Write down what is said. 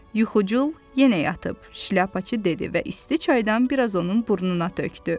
Yuxucul yenə yatıb, Şlyapaçı dedi və isti çaydan biraz onun burnuna tökdü.